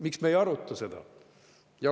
Miks me ei aruta seda?